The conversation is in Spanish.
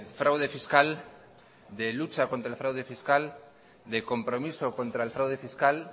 fraude fiscal de lucha contra el fraude fiscal de compromiso contra el fraude fiscal